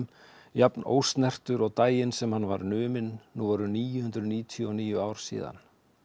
jafn ósnertur og daginn sem hann var numinn nú eru níu hundruð níutíu og níu ár síðan